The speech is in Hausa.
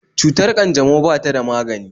Cutar ƙanjamau ba ta da magani